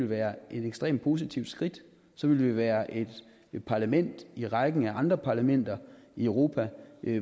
være et ekstremt positivt skridt så ville vi være et parlament i rækken af andre parlamenter i europa